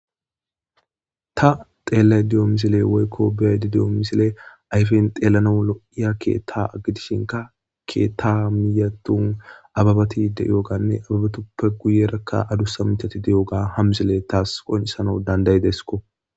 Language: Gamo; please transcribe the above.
Ta xellayida diyo missile woyikko beayida deio missile ayifen xellanawu lo'a keththa gidishinka keththa miy gidon abebati deioganne abebatuppe giyeraka adussa miththati deioga ha missile tas qonchisanawu dandaidesikko.